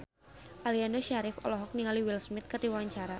Aliando Syarif olohok ningali Will Smith keur diwawancara